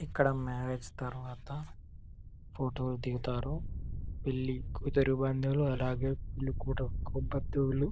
ఇక్కడ మ్యారేజ్ తరువాత ఫోటో లు దిగుతారు పెళ్లి కూతురు బంధువులు అలాగే పెళ్లి కొడుకు బంధువులు.